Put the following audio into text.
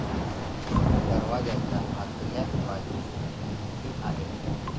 दरवाजाच्या अतल्या बाजुस घुमटी आहे.